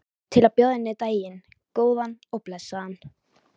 Til að bjóða henni daginn, góðan og blessaðan.